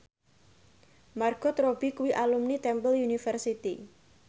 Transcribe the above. Margot Robbie kuwi alumni Temple University